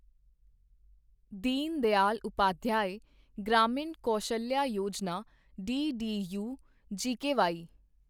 Deen Dayal Upadhyaya Grameen Kaushalya Yojana DDU GKY